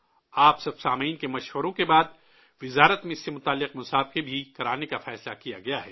آپ تمام سامعین کے مشورے کے بعد وزارت نے اس سے جڑا مقابلہ بھی کرانے کا فیصلہ لیا ہے